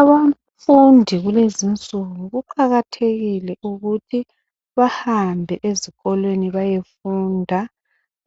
Abafundi kulezi insuku kuqakathekile ukuthi bahambe ezikolweni bayefunda